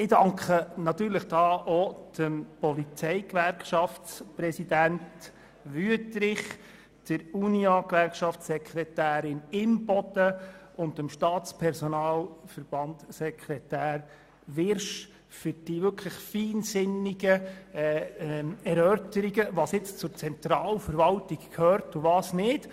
Ich danke auch dem Präsidenten der Polizeigewerkschaft, Grossrat Wüthrich, der Unia-Gewerkschaftssekretärin Grossrätin Imboden und dem Sekretär des Staatspersonalverbands, Grossrat Wyrsch, für die feinsinnigen Erörterungen zur Frage, was zur Zentralverwaltung gehört und was nicht.